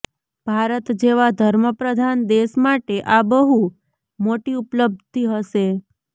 ભારત જેવા ધર્મપ્રધાન દેશ માટે આ બહુ મોટી ઉપલબ્ધિ હશે